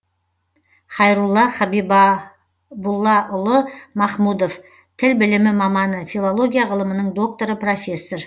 хайрулла хабибуллаұлы махмудов тіл білімі маманы филология ғылымының докторы профессор